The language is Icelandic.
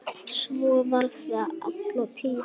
Svo var það alla tíð.